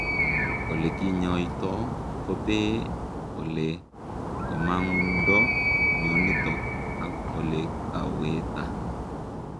olekinyaitoo kopee olee komangundoo mionitook ak olekawetaaa